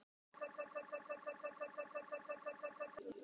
Jónas ferðaðist í nokkur ár um Ísland.